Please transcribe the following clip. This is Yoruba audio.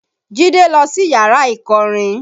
Jide lọ sí yàrá ìkọrin